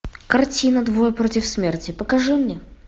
картина двое против смерти покажи мне